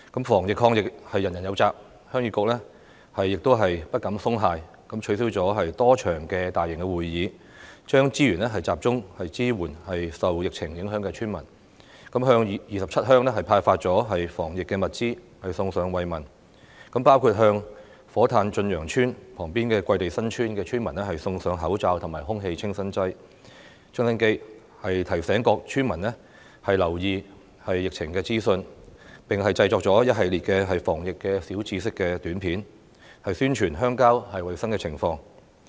防疫抗疫人人有責，鄉議局亦不敢鬆懈，取消了多場大型會議，將資源集中支援受疫情影響的村民，向27鄉派發防疫物資，送上慰問，包括向火炭駿洋邨旁邊的桂地新村村民送上口罩和空氣清新機，提醒各村民留意疫情資訊，並製作了一系列防疫小知識短片，宣傳鄉郊的衞生情況。